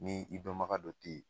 Ni i dɔnbaga dɔ te yen